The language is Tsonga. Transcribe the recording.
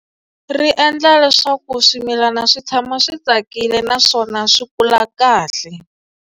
Ri endla leswaku swimilana swi tshama swi tsakile naswona swi kula kahle.